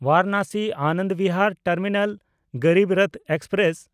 ᱵᱟᱨᱟᱱᱟᱥᱤ-ᱟᱱᱚᱱᱫ Bihar terminal Garib Rath express